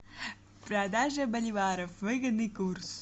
продажа боливаров выгодный курс